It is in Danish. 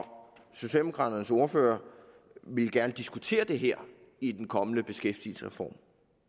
socialdemokraternes ordfører ville gerne diskutere det her i den kommende beskæftigelsesreform